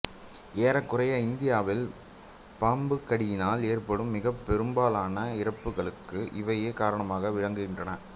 ஏறக்குறைய இந்தியாவில் பாம்புக்கடியினால் ஏற்படும் மிகப்பெரும்பாலான இறப்புக்களுக்கும் இவையே காரணமாக விளங்குகின்றன